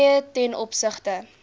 fooie ten opsigte